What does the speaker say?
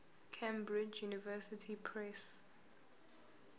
cambridge university press